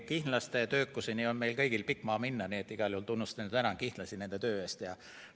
Kihnlaste töökuseni on meil kõigil pikk maa minna, nii et igal juhul tunnustan ja tänan kihnlasi nende töö eest!